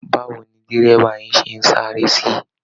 Báwo ni dẹ́rẹ̀bà yín ṣe ń sáré sí?